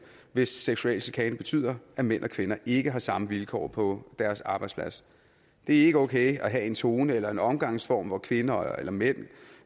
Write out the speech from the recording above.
hvis seksuel chikane betyder at mænd og kvinder ikke har samme vilkår på deres arbejdsplads det er ikke okay at have en tone eller en omgangsform hvor kvinder eller mænd